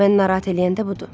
Mən narahat eləyən budur.